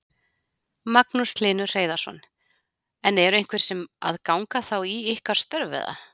Magnús Hlynur Hreiðarsson: En eru einhverjir sem að ganga þá í ykkar störf eða?